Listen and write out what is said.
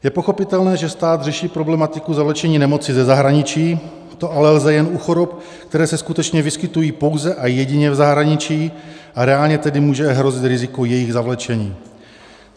Je pochopitelné, že stát řeší problematiku zavlečení nemoci ze zahraničí, to ale lze jen u chorob, které se skutečně vyskytují pouze a jedině v zahraničí, a reálně tedy může hrozit riziko jejich zavlečení.